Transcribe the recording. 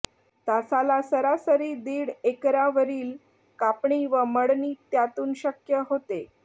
तासाला सरासरी दीड एकरांवरील कापणी व मळणी त्यातून शक्य होते